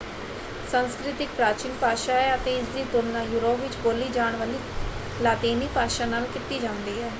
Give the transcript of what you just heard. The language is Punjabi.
ਸੰਸਕ੍ਰਿਤ ਇੱਕ ਪ੍ਰਾਚੀਨ ਭਾਸ਼ਾ ਹੈ ਅਤੇ ਇਸਦੀ ਤੁਲਣਾ ਯੂਰੋਪ ਵਿੱਚ ਬੋਲੀ ਜਾਣ ਵਾਲੀ ਲਾਤੀਨੀ ਭਾਸ਼ਾ ਨਾਲ ਕੀਤੀ ਜਾਂਦੀ ਹੈ।